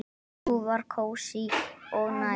Sú var kósí og næs.